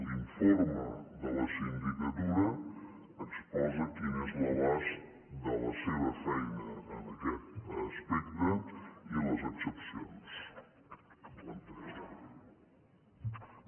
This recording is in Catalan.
l’informe de la sindicatura exposa quin és l’abast de la seva feina en aquest aspecte i les excepcions a plantejar